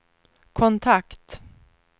kontakt